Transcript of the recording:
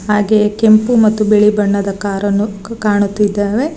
ಹಾಗೆ ಕೆಂಪು ಮತ್ತು ಬಿಳಿ ಬಣ್ಣದ ಕಾರ್ ಅನ್ನು ಕ ಕಾಣುತ್ತಿದ್ದೇವೆ.